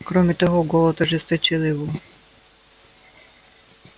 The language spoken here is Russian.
кроме того голод ожесточил его